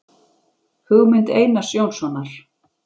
Hugmynd Einars Jónssonar